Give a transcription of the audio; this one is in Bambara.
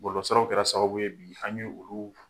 Bɔlɔlɔsiraw kɛra sababu bi an ye olu